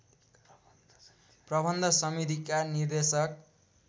प्रबन्ध समितिका निर्देशक